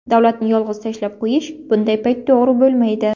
Davlatni yolg‘iz tashlab qo‘yish bunday payt to‘g‘ri bo‘lmaydi.